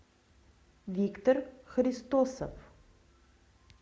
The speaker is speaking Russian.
виктор христосов